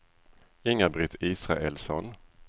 Inga-Britt Israelsson